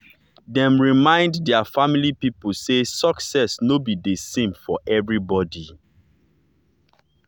dem remindt their family people say success no be the same for everybody.